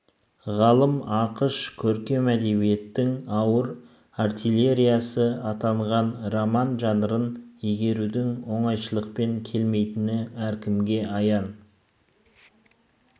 ғалым ақыш көркем әдебиеттің ауыр артиллериясы атанған роман жанрын игерудің оңайшылықпен келмейтіні әркімге аян